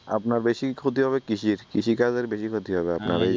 আপনার বেশি ক্ষতি হবে কৃষির কৃষিকাজের বেশি ক্ষতি হবে